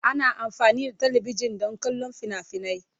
Ana amfani da talabijin don kallon fina-finai.